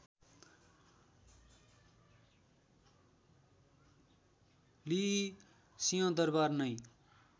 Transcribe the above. लिई सिंहदरवार नै